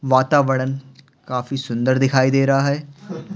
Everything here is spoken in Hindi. वातावरण काफी सुंदर दिखाई दे रहा है।